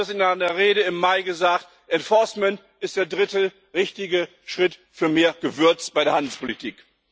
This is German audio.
Sie haben das in einer Rede im Mai gesagt Enforcement ist der dritte richtige Schritt für mehr Gewürz bei der Handelspolitik.